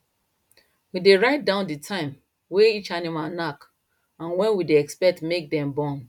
we dey write down the time way each animal knack and when we dey expect make dem born